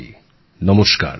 আমার প্রিয় দেশবাসী নমস্কার